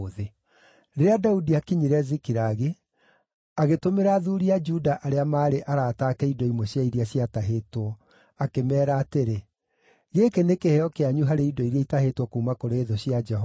Rĩrĩa Daudi aakinyire Zikilagi, agĩtũmĩra athuuri a Juda arĩa maarĩ arata ake indo imwe cia iria ciatahĩtwo, akĩmeera atĩrĩ, “Gĩkĩ nĩ kĩheo kĩanyu harĩ indo iria itahĩtwo kuuma kũrĩ thũ cia Jehova.”